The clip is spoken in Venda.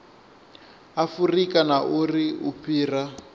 afurika na uri u fhira